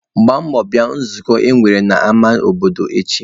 Gbaa mbọ bịa nzukọ e nwere n'ama obodo echi!